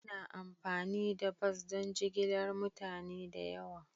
Ana amfani da bas don jigilar mutane da yawa.